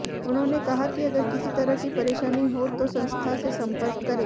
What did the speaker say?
उन्होंने कहा कि अगर किसी तरह की परेशानी हो तो संस्था से संपर्क करें